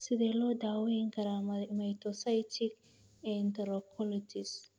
Sidee loo daweyn karaa mastocytic enterocolitis?